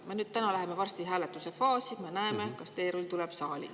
Me läheme nüüd varsti hääletuse faasi ja näeme siis, kas teerull tuleb saali.